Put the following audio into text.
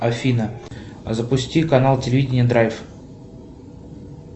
афина запусти канал телевидения драйв